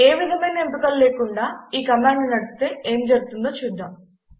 ఏ విధమైన ఎంపికలు లేకుండా ఈ కమాండ్ను నడిపితే ఏమి జరుగుతుందో చూద్దాం